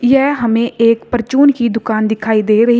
यह हमें एक परचून की दुकान दिखाई दे रही--